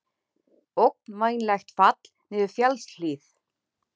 Ógnvænlegt fall niður fjallshlíð